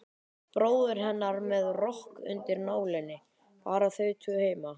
Bróðir hennar með rokk undir nálinni, bara þau tvö heima.